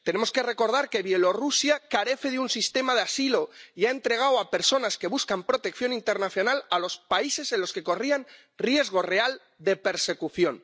Tenemos que recordar que Bielorrusia carece de un sistema de asilo y ha entregado a personas que buscan protección internacional a los países en los que corrían riesgo real de persecución.